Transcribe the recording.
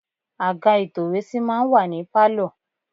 Àga ìtòwésí máa ń wà ní Pálọ̀.